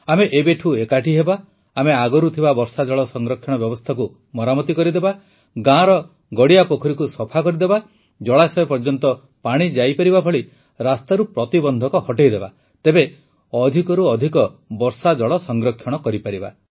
ଆମେ ଏବେଠୁ ଏକାଠି ହେବା ଆମେ ଆଗରୁ ଥିବା ବର୍ଷାଜଳ ସଂରକ୍ଷଣ ବ୍ୟବସ୍ଥାକୁ ମରାମତି କରିଦେବା ଗାଁର ଗାଡ଼ିଆ ପୋଖରୀକୁ ସଫା କରିଦେବା ଜଳାଶୟ ପର୍ଯ୍ୟନ୍ତ ପାଣି ଯାଇପାରିବା ଭଳି ରାସ୍ତାରୁ ପ୍ରତିବନ୍ଧକ ହଟାଇଦେବା ତେବେ ଅଧିକରୁ ଅଧିକ ବର୍ଷାଜଳ ସଂରକ୍ଷଣ କରିପାରିବା